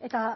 eta